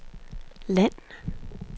land